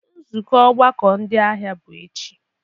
Nzukọ ọgbakọ ndị ahịa bụ echi.